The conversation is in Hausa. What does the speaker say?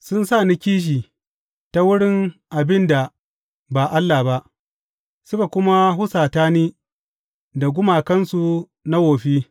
Sun sa ni kishi ta wurin abin da ba allah ba, suka kuma husata ni da gumakansu na wofi.